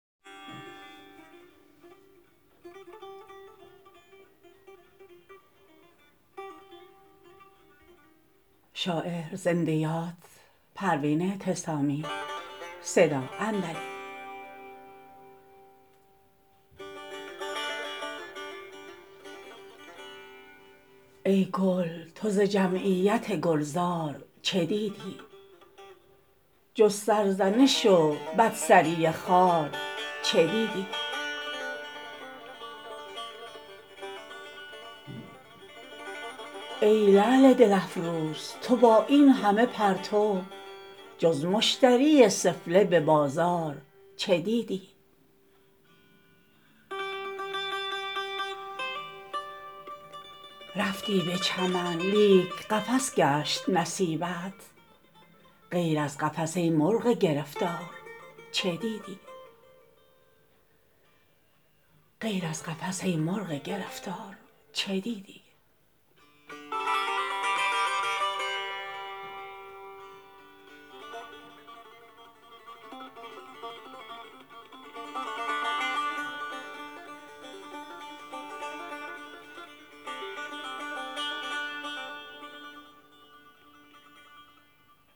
ای گل تو ز جمعیت گلزار چه دیدی جز سرزنش و بد سری خار چه دیدی ای لعل دل افروز تو با اینهمه پرتو جز مشتری سفله ببازار چه دیدی رفتی به چمن لیک قفس گشت نصیبت غیر از قفس ای مرغ گرفتار چه دیدی